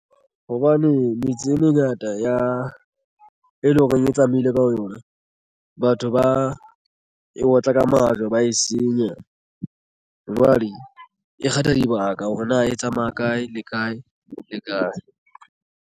Hobane metsi e mengata ya e leng horeng e tsamaile ka yona batho ba e otla ka majwe ba e senya. Jwale e kgetha dibaka hore na e tsamaya kae le kae le kae.